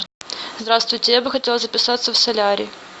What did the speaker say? здравствуйте я бы хотела записаться в солярий